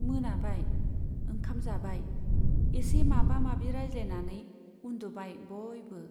मोनाबाय , ओंखाम जाबाय , एसे माबा माबि रायज्लायनानै उन्दुबाय बयबो।